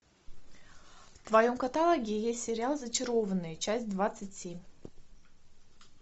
в твоем каталоге есть сериал зачарованные часть двадцать семь